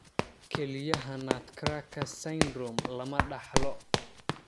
Kelyaha nutcracker syndrome lama dhaxlo.